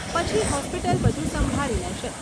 પછી હોસ્પિટલ બધુ સંભાળી લેશે.